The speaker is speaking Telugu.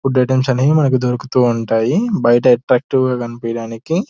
ఫుడ్ ఐటమ్స్ అన్ని అవి మనకి దొరుకుతూ ఉంటాయి బయట అట్రాక్టివ్ గా కనిపియడానికి.